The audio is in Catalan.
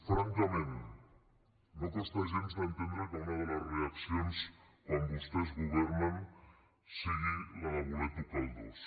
francament no costa gens d’entendre que una de les reaccions quan vostès governen sigui la de voler tocar el dos